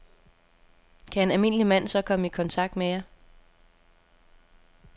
Kan en almindelig mand så komme i kontakt med jer?